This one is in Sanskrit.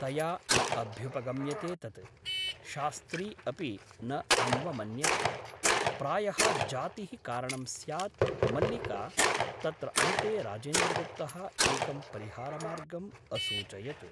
तया न अभ्युपगम्यते तत् । शास्त्री अपि न अन्वमन्यत । प्रायः जातिः कारणं स्यात् मल्लिका तत्र अन्ते राजेन्द्रगुप्तः एकं परिहारमार्गम् असूचयत् ।